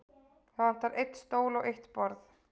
Það vantar einn stól og eitt borð.